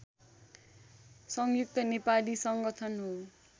संयुक्त नेपाली संगठन हो